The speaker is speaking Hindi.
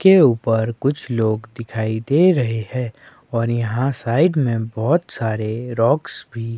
के ऊपर कुछ लोग दिखाई दे रहे है और यहां साइड में बहुत सारे रॉक्स भी--